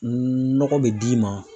Nɔgɔ bɛ d'i ma.